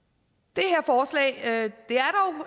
det